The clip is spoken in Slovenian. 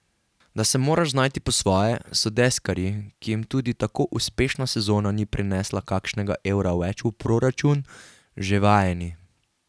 Da se moraš znajti po svoje, so deskarji, ki jim tudi tako uspešna sezona ni prinesla kakšnega evra več v proračun, že vajeni.